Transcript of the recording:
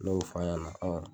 Ne y'o f'a ɲɛna